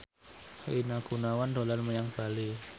Rina Gunawan dolan menyang Bali